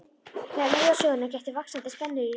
Þegar leið á söguna gætti vaxandi spennu í röddinni.